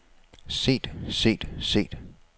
set set set